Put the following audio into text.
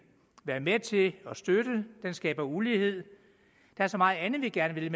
være med til at støtte den skaber ulighed der er så meget andet vi gerne vil